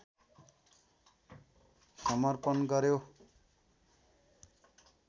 समर्पण गर्‍यो